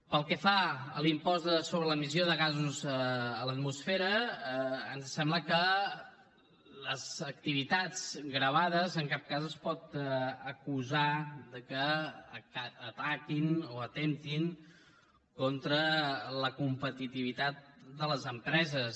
pel que fa a l’impost sobre l’emissió de gasos a l’atmosfera ens sembla que les activitats gravades en cap cas es pot acusar que ataquin o atemptin contra la competitivitat de les empreses